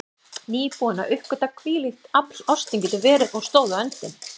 Nýbúin að uppgötva hvílíkt afl ástin getur verið, og stóð á öndinni.